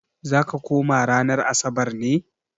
Za ka koma ranar Asabar ne?